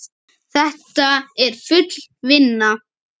Þetta er full vinna!